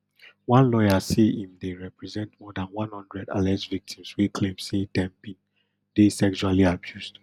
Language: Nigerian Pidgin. one lawyer say im dey represent more dan one hundred alleged victims wey claim say dem bin dey sexually abused